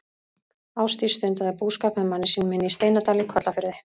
Ásdís stundaði búskap með manni sínum inni í Steinadal í Kollafirði.